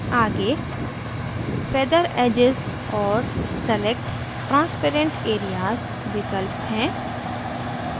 आगे feather edges और select transparent areas विकल्प हैं